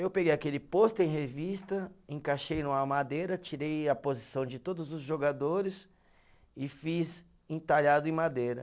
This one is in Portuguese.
Eu peguei aquele pôster em revista, encaixei numa madeira, tirei a posição de todos os jogadores e fiz entalhado em madeira.